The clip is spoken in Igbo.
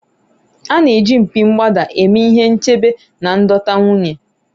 a na-eji mpi mgbada eme ihe nchebe na ịdọta nwunye